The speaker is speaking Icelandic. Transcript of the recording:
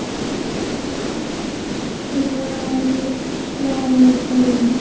svaraði Þórunn.